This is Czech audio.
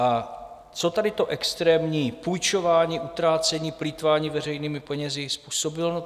A co tady to extrémní půjčování, utrácení, plýtvání veřejnými penězi způsobilo?